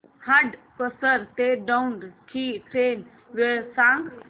हडपसर ते दौंड ची ट्रेन वेळ सांग